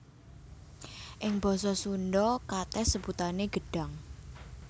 Ing basa Sundha katès sebutané gedhang